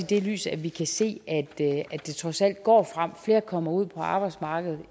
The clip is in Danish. det lys at vi kan se at det trods alt går frem at flere kommer ud på arbejdsmarkedet